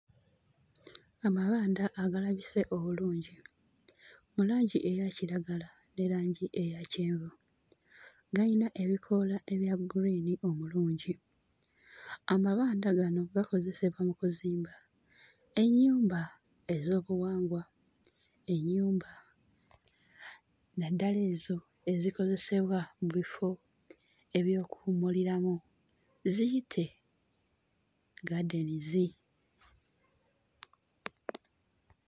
Amabanda agalabise obulungi mu langi eya kiragala ne langi eya kyenvu gayina ebikoola ebya gguliini omulungi. Amabanda gano gakozesebwa mu kuzimba ennyumba ez'obuwangwa, ennyumba naddala ezo ezikozesebwa mu bifo eby'okuwummuliramu ziyite gardens.